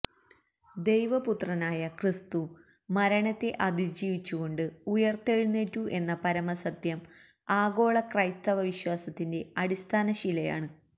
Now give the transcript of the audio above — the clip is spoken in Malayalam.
ദൈവപുത്രനായ ക്രിസ്തു മരണത്തെ അതിജീവിച്ചുകൊണ്ട് ഉയര്ത്തെഴുന്നേറ്റു എന്ന പരമസത്യം ആഗോള െ്രെകസ്തവ വിശ്വാസത്തിന്റെ അടിസ്ഥാന ശിലയാണു